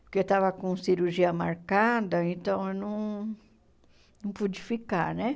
Porque eu estava com cirurgia marcada, então eu não não pude ficar, né?